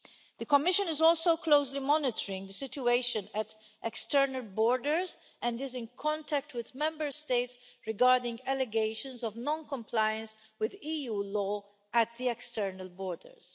The Commission is also closely monitoring the situation at external borders and is in contact with Member States regarding allegations of non compliance with EU law at the external borders.